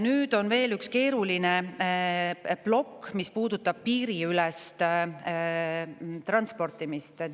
Nüüd on veel üks keeruline plokk, mis puudutab piiriülest transportimist.